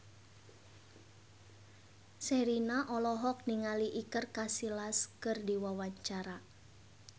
Sherina olohok ningali Iker Casillas keur diwawancara